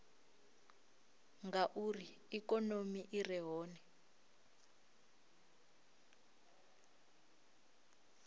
ngauri ikonomi i re hone